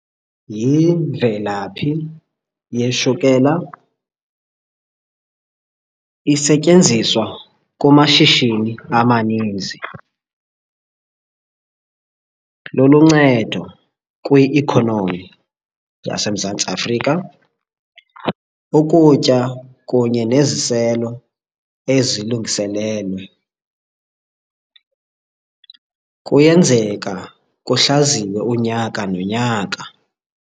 Yimvelaphi yeshukela, isetyenziswa kumashishini amaninzi. Luluncedo kwi-ikhonomi yaseMzantsi Afrika, ukutya kunye neziselo ezilungiselelwe. Kuyenzeka kuhlaziywe unyaka nonyaka.